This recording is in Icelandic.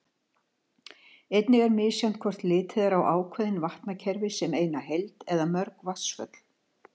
Einnig er misjafnt hvort litið er á ákveðin vatnakerfi sem eina heild eða mörg vatnsföll.